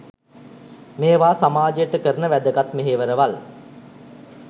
මේවා සමාජයට කරන වැදගත් මෙහෙවරවල්.